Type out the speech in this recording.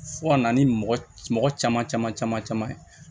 Fo ka na ni mɔgɔ mɔgɔ caman caman caman caman ye